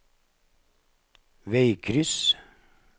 veikryss